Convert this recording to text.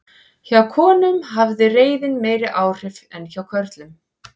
Hjá konum hafði reiðin meiri áhrif en hjá körlum.